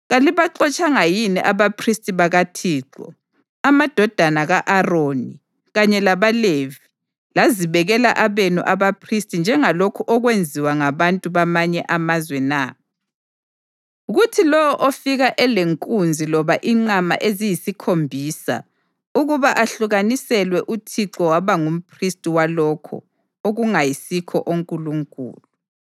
Kalibaxotshanga yini abaphristi bakaThixo, amadodana ka-Aroni, kanye labaLevi, lazibekela abenu abaphristi njengalokhu okwenziwa ngabantu bamanye amazwe na? Kuthi lowo ofika elenkunzi loba inqama eziyisikhombisa ukuba ahlukaniselwe uThixo waba ngumphristi walokho okungayisikho onkulunkulu.